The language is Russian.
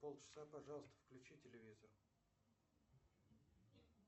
полчаса пожалуйста включи телевизор